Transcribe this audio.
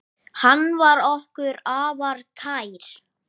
Hvert mun það markmið leiða?